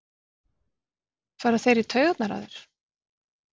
fara þeir í taugarnar á þér?